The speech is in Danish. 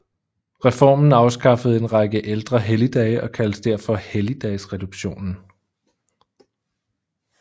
Reformen afskaffede en række ældre helligdage og kaldes derfor Helligdagsreduktionen